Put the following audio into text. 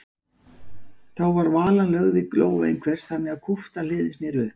Þá var valan lögð í lófa einhvers þannig að kúpta hliðin sneri upp.